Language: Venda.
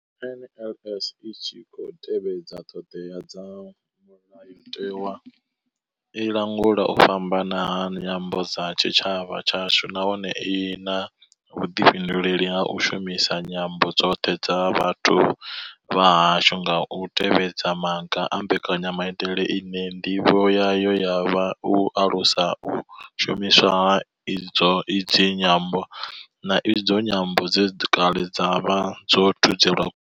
NLS I tshi khou tevhedza ṱhodea dza Mulayo tewa, i langula u fhambana ha nyambo kha tshitshavha tshashu nahone I na vhuḓifhinduleli ha u shumisa nyambo dzoṱhe dza vhathu vha hashu nga u tevhedza maga a mbekanya maitele ine ndivho yayo ya vha u alusa u shumiswa ha idzi nyambo, na idzo nyambo dze kale dza vha dzo thudzelwa.